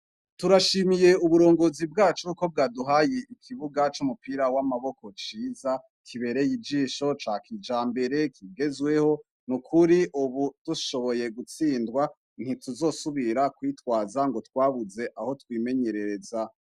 Turashimiye uburongozi bwacu yuko bwaduhaye ikibuga c'umupira w'amaboko ciza kibereye ijisho cakijambere kigezweho, nukuri ubu dushoboye gutsindwa, ntituzosubira kwitwaza ngo twabuze aho twimenyerereza.